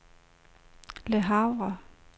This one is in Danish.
Le Havre